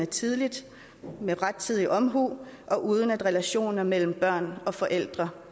tidligt og med rettidig omhu og uden at relationer mellem børn og forældre